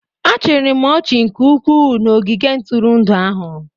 Achịrị m ọchị nke ukwuu na ogige ntụrụndụ ahụ